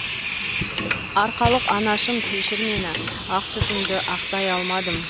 арқалық анашым кешір мені ақ сүтіңді ақтай алмадым